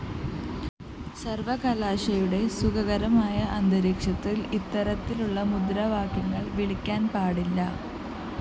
സര്‍വകലാശാലയുടെ സുഖകരമായ അന്തരീക്ഷത്തില്‍ ഇത്തരത്തിലുള്ള മുദ്രാവാക്യങ്ങള്‍ വിളിക്കാന്‍ പാടില്ല